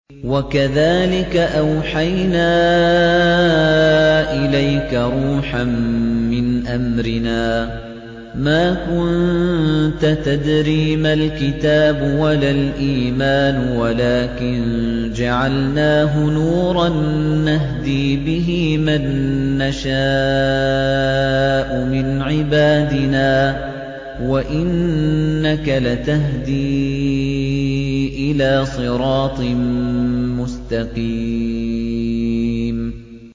وَكَذَٰلِكَ أَوْحَيْنَا إِلَيْكَ رُوحًا مِّنْ أَمْرِنَا ۚ مَا كُنتَ تَدْرِي مَا الْكِتَابُ وَلَا الْإِيمَانُ وَلَٰكِن جَعَلْنَاهُ نُورًا نَّهْدِي بِهِ مَن نَّشَاءُ مِنْ عِبَادِنَا ۚ وَإِنَّكَ لَتَهْدِي إِلَىٰ صِرَاطٍ مُّسْتَقِيمٍ